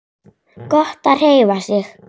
Gott að hreyfa sig.